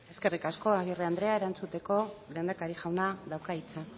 eskerrik asko agirre andrea erantzuteko lehendakari jaunak dauka hitza